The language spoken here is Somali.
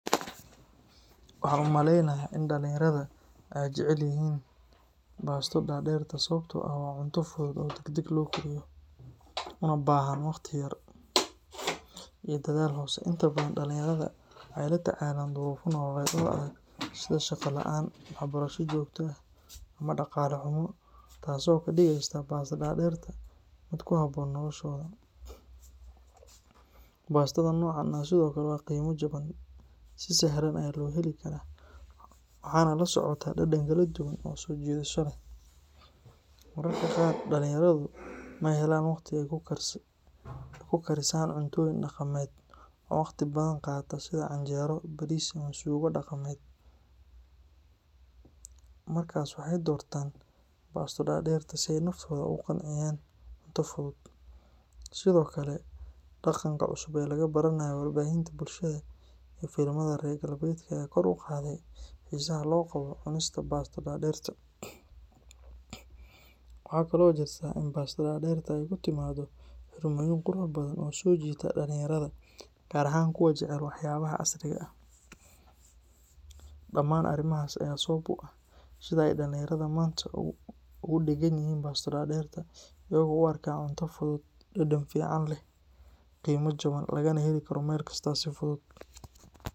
Waxaan u maleynayaa in dhalinyarada ay jecel yihiin baasto daaderta sababtoo ah waa cunto fudud oo degdeg loo kariyo, una baahan waqti yar iyo dadaal hoose. Inta badan dhalinyarada waxay la tacaalaan duruufo nololeed oo adag sida shaqo la’aan, waxbarasho joogto ah, ama dhaqaale xumo, taasoo ka dhigeysa baasto daaderta mid ku habboon noloshooda. Baastada noocan ah sidoo kale waa qiimo jaban, si sahlan ayaa loo heli karaa, waxaana la socota dhadhan kala duwan oo soo jiidasho leh. Mararka qaar dhalinyaradu ma helaan waqti ay ku karisaan cuntooyin dhaqameed oo waqti badan qaata sida canjeero, bariis, ama suugo dhaqameed, markaas waxay doortaan baasto daaderta si ay naftooda ugu qanciyaan cunto fudud. Sidoo kale, dhaqanka cusub ee laga baranayo warbaahinta bulshada iyo filimada reer galbeedka ayaa kor u qaaday xiisaha loo qabo cunidda baasto daaderta. Waxa kale oo jirta in baasto daaderta ay ku timaaddo xirmooyin qurux badan oo soo jiita dhalinyarada, gaar ahaan kuwa jecel waxyaabaha casriga ah. Dhamaan arrimahaas ayaa sabab u ah sida ay dhalinyarada maanta ugu dheggan yihiin baasto daaderta, iyagoo u arka cunto fudud, dhadhan fiican leh, qiimo jaban ah, lagana heli karo meel kasta si fudud.